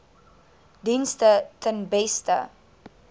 dienste ten beste